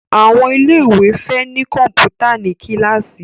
Àwọn ilé ìwé fè ní Kọ̀ǹpútà ní kilasi